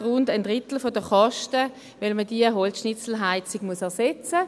Dass man diese Holzschnitzelheizung ersetzen muss, verursacht ungefähr ein Drittel der Kosten.